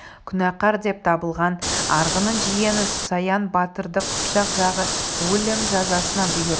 күнәкар деп табылған арғынның жиені саян батырды қыпшақ жағы өлім жазасына бұйырды